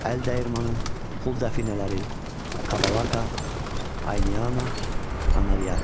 Əldəyirmanı, pul dəfinələri, Qabalaqa, Ayniana, Anariaka.